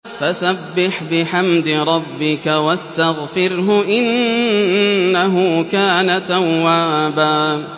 فَسَبِّحْ بِحَمْدِ رَبِّكَ وَاسْتَغْفِرْهُ ۚ إِنَّهُ كَانَ تَوَّابًا